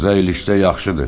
Qıza eləsə yaxşıdır.